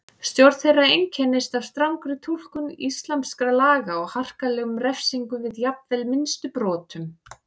Stjórn þeirra einkenndist af strangri túlkun íslamskra laga og harkalegum refsingum við jafnvel minnstu brotum.